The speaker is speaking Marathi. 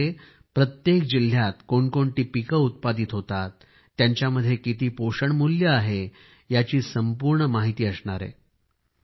यामध्ये प्रत्येक जिल्ह्यामध्ये कोणकोणती पिके उत्पादित होतात त्यांच्यामध्ये किती पोषण मूल्य आहे याची संपूर्ण माहिती त्यामध्ये असणार आहे